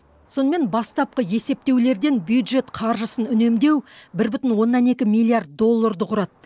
сонымен бастапқы есептеулерден бюджет қаржысын үнемдеу бір бүтін оннан екі миллиард долларды құрады